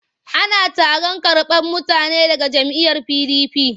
Ana taron karɓar mutane daga jam'iyyar PDP.